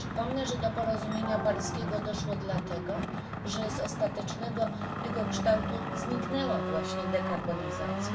Przypomnę, że do porozumienia paryskiego doszło dlatego, że z ostatecznego jego kształtu zniknęła właśnie dekarbonizacja.